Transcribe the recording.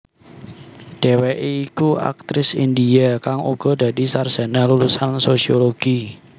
Dheweké iku aktris India kang uga dadi sarjana lulusan sosiologi